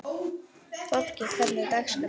Fólki, hvernig er dagskráin?